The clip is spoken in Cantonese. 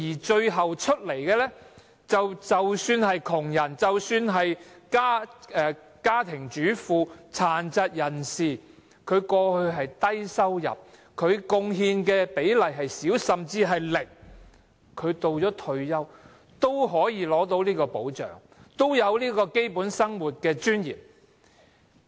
最後結果是，即使是窮人、家庭主婦、殘疾人士等，過去的收入低，貢獻少，甚至是零，退休的時候，也可以得到保障，有基本生活的尊嚴。